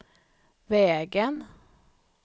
vägen